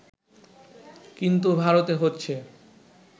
কিন্তু ভারতে হচ্ছে